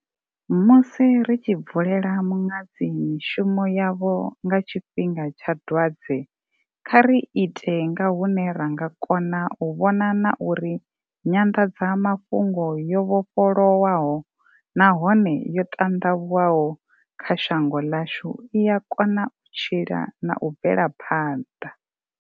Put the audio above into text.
Musi ri tshi bvulela muṅadzi mishumo yavho nga tshifhi nga tsha dwadze, kha ri ite nga hune ra nga kona u vhona na uri nyanḓadzamafhungo yo vhofholowaho nahone yo ṱanḓavhuwaho kha shango ḽashu i ya kona u tshila na u bvela phanḓa.